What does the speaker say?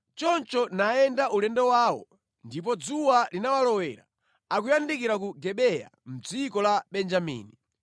Choncho nayenda ulendo wawo, ndipo dzuwa linawalowera akuyandikira ku Gibeya mʼdziko la Benjamini.